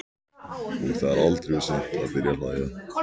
Og það er aldrei of seint að byrja að hlæja.